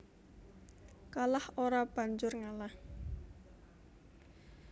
Kalah ora banjur ngalah